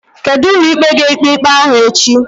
Kedu ụlọikpe ga-ekpe ikpe ahụ echi?